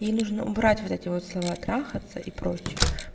ей нужно убрать вот эти вот слова трахаться и прочие